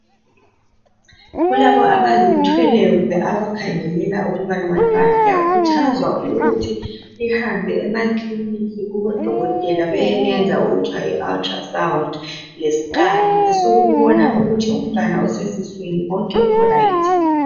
Kulabo abazithweleyo kumbe labo abakhangelela abantwana liyakhuthazwa ukuthi lihambe emaclinic lihambe kubodokotela bayeliyenza okuthiwa yiultra sound lescan esokubona ukuthi umntwana oseswini konke kuright yini.